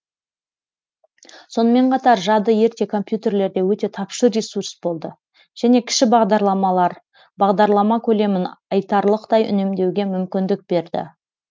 сонымен қатар жады ерте компьютерлерде өте тапшы ресурс болды және кіші бағдарламалар бағдарлама көлемін айтарлықтай үнемдеуге мүмкіндік берді